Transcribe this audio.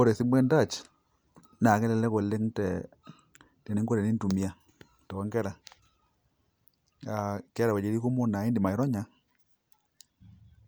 Ore esimu entouch nakelelek oleng teninko tenintumia tonkera aa keeta wuejitin kumok na indim aironya